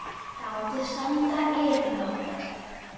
Látið standa yfir nótt.